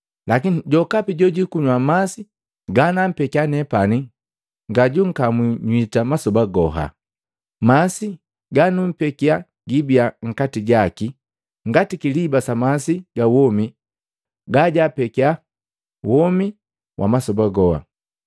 lakini jokapi jojikunywa masi ganampekia nepani ngajunkamwi nywita masoba goha. Masi ganumpekia gibiya nkati jaki ngati kiliba sa masi ga womi gajapekia womi wa masoba goha.”